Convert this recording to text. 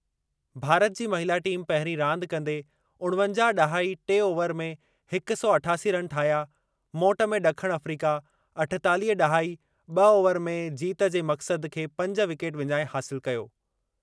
भारत जी महिला टीम पहिरीं रांदि कंदे उणवंजाह ड॒हाई टे ओवर में हिक सौ अठासी रन ठाहिया मोट में ड॒खण अफ़्रीका अठेतालीह ड॒हाई ब॒ ओवर में जीत जे मक़्सद खे पंज विकेट विञाए हासिलु कयो।